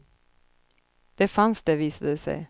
Det fanns det, visade det sig.